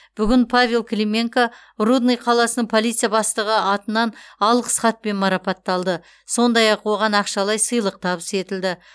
бүгін павел клименко рудный қаласының полиция бастығы атынан алғыс хатпен марапатталды сондай ақ оған ақшалай сыйлық табыс етілді